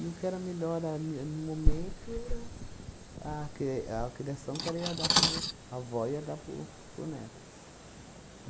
o que era melhor ali no momento era a cri a criação que ela ia dar para o meu a avó ia dar para o para o neto.